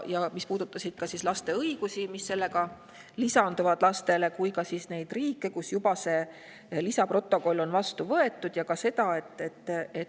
Ta puudutas nii laste õigusi, mis lisanduvad lastele, kui ka neid riike, kus on see lisaprotokoll juba vastu võetud.